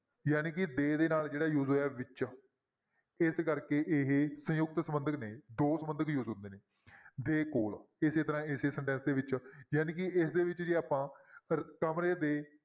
ਜਾਣੀ ਕਿ ਦੇ ਦੇ ਨਾਲ ਜਿਹੜਾ use ਹੋਇਆ ਵਿੱਚ, ਇਸ ਕਰਕੇ ਇਹ ਸੰਯੁਕਤ ਸੰਬੰਧਕ ਨੇ ਦੋ ਸੰਬੰਧਕ use ਹੁੰਦੇ ਨੇ ਦੇ ਕੋਲ ਇਸੇ ਤਰ੍ਹਾਂ ਇਸੇ sentence ਦੇ ਵਿੱਚ ਜਾਣੀ ਕਿ ਇਸਦੇ ਵਿੱਚ ਜੇ ਆਪਾਂ ਰ~ ਕਮਰੇ ਦੇ